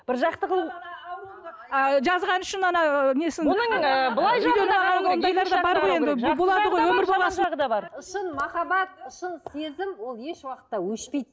бір жақты қылу ы жазғаны үшін ана ы несін шын махаббат шын сезім ол ешуақытта өшпейді